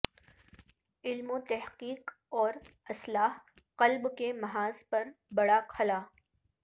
علم وتحقیق اور اصلاح قلب کے محاذ پر بڑا خلا